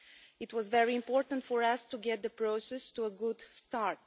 It was very important for us to get the process off to a good start.